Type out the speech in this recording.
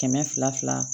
Kɛmɛ fila fila